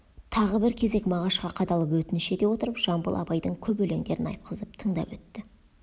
тағы бір кезек мағашқа қадалып өтініш ете отырып жамбыл абайдың көп өлендерін айтқызып тыңдап өтті